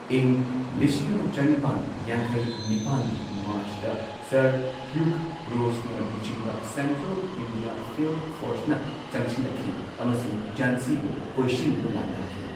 ꯏꯪ ꯂꯤꯁꯤꯡ ꯑꯃ ꯆꯅꯤꯄꯥꯟ ꯌꯥꯡꯈꯩ ꯅꯤꯄꯥꯟꯒꯤ ꯃꯥꯔꯆꯇ ꯁꯔ ꯍ꯭ꯌꯨꯒ ꯔꯣꯁꯅ ꯂꯨꯆꯤꯡꯕ ꯁꯦꯟꯇ꯭ꯔꯦꯜ ꯏꯟꯗꯤꯌꯥ ꯐꯤꯜꯗ ꯐꯣꯔꯁꯅ ꯆꯪꯁꯤꯟꯂꯛꯈꯤ ꯑꯃꯁꯨꯡ ꯓꯥꯟꯁꯤꯕꯨ ꯀꯣꯏꯁꯤꯟꯗꯨꯅ ꯂꯥꯟꯗꯥꯈꯤ꯫